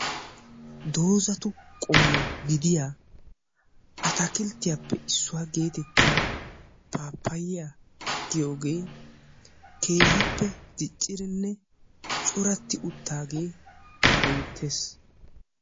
Dozatu qommo gidiyaa atakilttiyaapee issuwaa gidiyaa pappayiya giyooge keehippe diccidinne corati uttaage beettees.